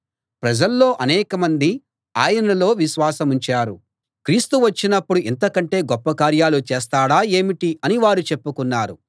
ప్రజల్లో అనేక మంది ఆయనలో విశ్వాసముంచారు క్రీస్తు వచ్చినప్పుడు ఇంతకంటే గొప్ప కార్యాలు చేస్తాడా ఏమిటి అని వారు చెప్పుకున్నారు